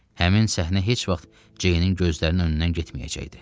Həmin səhnə heç vaxt Ceynin gözlərinin önündən getməyəcəkdi.